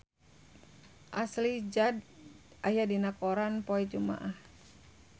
Ashley Judd aya dina koran poe Jumaah